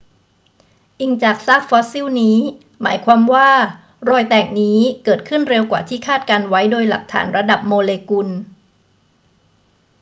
อิงจากซากฟอสซิลนี้ หมายความว่ารอยแตกนี้เกิดขึ้นเร็วกว่าที่คาดการณ์ไว้โดยหลักฐานระดับโมเลกุล